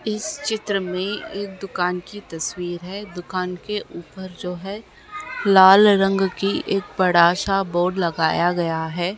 इस चित्र में एक दुकान की तस्वीर है। दुकान के ऊपर जो है लाल रंग की एक बड़ा सा बोर्ड लगाया गया है।